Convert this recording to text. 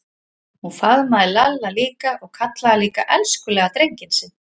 Hún faðmaði Lalla líka og kallaði hann líka elskulega drenginn sinn.